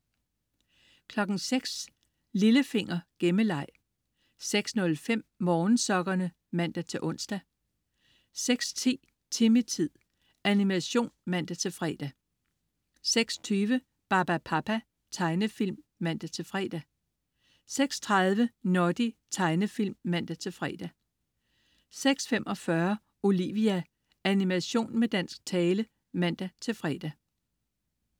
06.00 Lillefinger. Gemmeleg 06.05 Morgensokkerne (man-ons) 06.10 Timmy-tid. Animation (man-fre) 06.20 Barbapapa. Tegnefilm (man-fre) 06.30 Noddy. Tegnefilm (man-fre) 06.45 Olivia. Animation med dansk tale (man-fre)